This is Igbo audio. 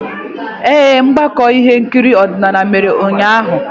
Ee, ọgbakọ ihe nkiri odinala mere ụnyaahụ.